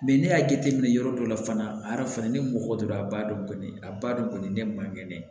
ne y'a jateminɛ yɔrɔ dɔ la fana ni mɔgɔ do a b'a dɔn kɔni a b'a dɔn kɔni ne man kɛnɛ